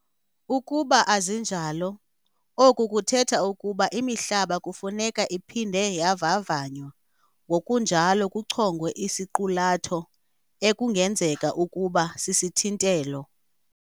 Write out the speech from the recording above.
Ukuba azinjalo, oku kuthetha ukuba imihlaba kufuneka iphinde yavavanywa ngokunjalo kuchongwe isiqulatho ekungenzeka ukuba sisithintelo.